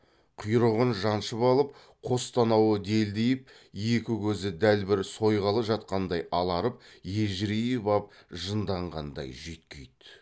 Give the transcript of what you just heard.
құйрығын жаншып алып қос танауы делдиіп екі көзі дәл бір сойғалы жатқандай аларып ежірейіп ап жынданғандай жүйткиді